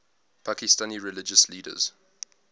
pakistani religious leaders